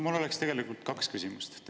Mul on tegelikult kaks küsimust.